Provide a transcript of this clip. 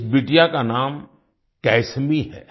इस बिटिया का नाम कैसमी है